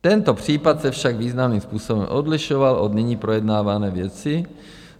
Tento případ se však významným způsobem odlišoval od nyní projednávané věci.